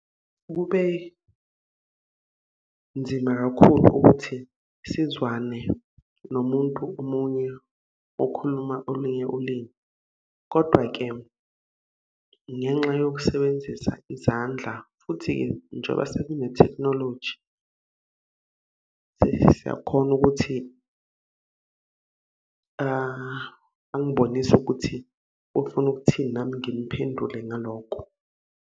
Kube nzima kakhulu ukuthi sizwane nomuntu omunye okhuluma olunye ulimi. Kodwa-ke ngenxa yokusebenzisa izandla futhi-ke, njengoba sekunethekhnoloji, sesiyakhona ukuthi angibonise ukuthi, ufuna ukuthini nami ngimphendule ngaloko.